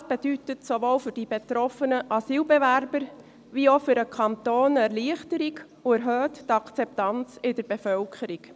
Das bedeutet sowohl für die betroffenen Asylbewerber als auch für den Kanton eine Erleichterung und erhöht die Akzeptanz in der Bevölkerung.